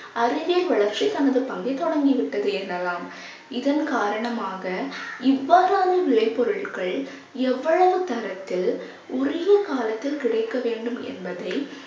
அறிவியல் வளர்ச்சி தனது பங்கை தொடங்கிவிட்டது எனலாம். இதன் காரணமாக இவ்வாறான விளைபொருள்கள் எவ்வளவு தரத்தில் உரிய காலத்தில் கிடைக்க வேண்டும் என்பதை